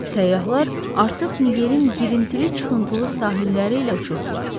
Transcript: Səyyahlar artıq Nigerin girintili-çıxıntılı sahilləri ilə uçurdular.